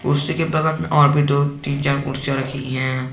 कुर्सी के बगल में और भी दो तीन चार कुर्सियां रखी हैं।